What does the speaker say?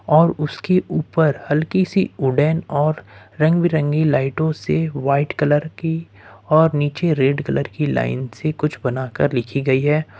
और उसके ऊपर हल्की सी उड़ान और रंग बिरंगी लाइटों से व्हाइट कलर की और नीचे रेड कलर की लाइन से कुछ बनाकर लिखी गई है।